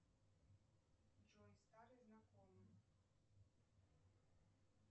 джой старый знакомый